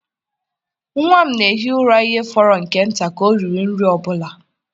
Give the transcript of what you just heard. Nwa m na-ehi ụra ihe fọrọ nke nta ka ọ riri nri ọ bụla.